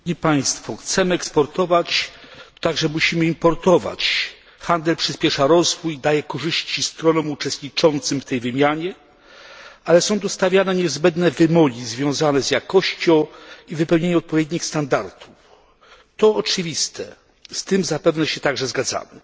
Pani przewodnicząca! Chcemy eksportować, ale musimy także importować. Handel przyśpiesza rozwój, daje korzyści stronom uczestniczącym w tej wymianie, ale są tu stawiane niezbędne wymogi związane z jakością i wypełnieniem odpowiednich standardów to oczywiste, z tym zapewne się także zgadzamy.